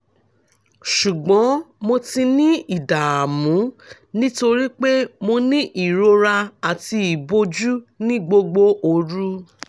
ṣùgbọ́n mo ti ní ìdààmú nítorí pé mo ní ìrora àti ìbòjú ní gbogbo òru